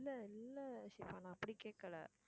இல்லை இல்லை ஷிபா நான் அப்படி கேட்கலை.